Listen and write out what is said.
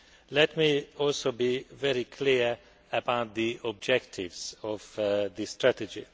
Let me also be very clear about the objectives of the strategy.